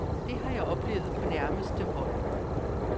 Det har jeg oplevet på nærmeste hold.